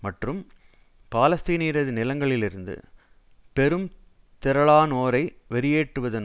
மற்றும் பாலஸ்தீனியரது நிலங்களில் இருந்து பெரும் திரளானோரை வெளியேற்றுவதன்